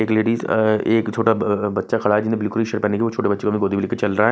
एक लेडिस एक छोटा बच्चा खड़ा है जिन्हें बिल्कुल छोटे बच्चे की गोदी में लेकर चल रहा है